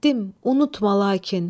Getdim, unutma lakin.